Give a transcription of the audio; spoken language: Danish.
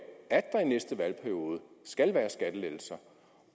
at der i næste valgperiode skal være skattelettelser